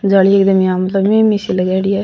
जाली में लगायेदि है।